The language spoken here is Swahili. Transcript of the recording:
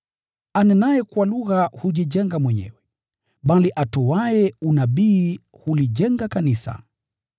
Anenaye kwa lugha hujijenga mwenyewe, bali atoaye unabii hulijenga kanisa.